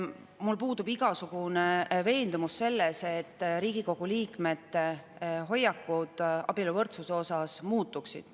Mul puudub igasugune veendumus, et Riigikogu liikmete hoiakud abieluvõrdsuse suhtes muutuksid.